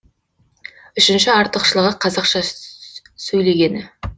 үшінші артықшылығы қазақша сөйлегені